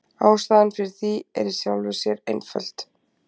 Ástæðan fyrir því er í sjálfu sér einföld.